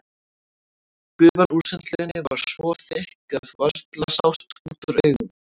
Gufan úr sundlauginni var svo þykk að varla sást út úr augum.